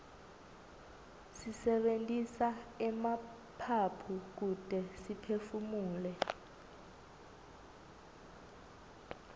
sisebentisa emaphaphu kute siphefumule